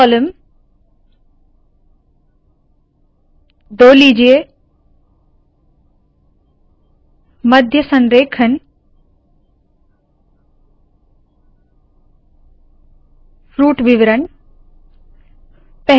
multi column दो लीजिए मध्य संरेखण फ्रूट विवरण